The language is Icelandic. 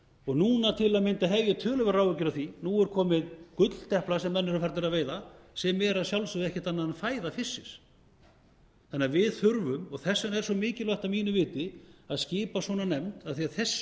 fiskinum núna til að mynda hef ég töluverðar áhyggjur af því að nú er komin gulldeplu sem menn eru farnir að veiða sem er að sjálfsögðu ekkert annað en fæða fisksins við þurfum því og þess vegna er svo mikilvægt að mínu viti að skipa svona nefnd af því að þessi